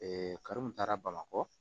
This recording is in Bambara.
karo min taara bamakɔ